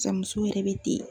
Cɛ muso yɛrɛ be ten